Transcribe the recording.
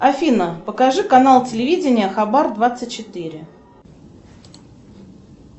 афина покажи канал телевидения хабар двадцать четыре